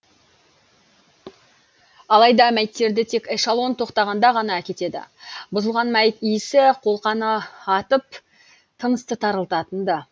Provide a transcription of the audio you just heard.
алайда мәйіттерді тек эшалон тоқтағанда ғана әкетеді бұзылған мәйіт иісі қолқаны атып тынысты тарылтатын ды